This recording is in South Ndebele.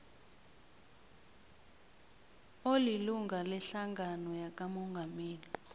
olilunga lehlangano yakamongameli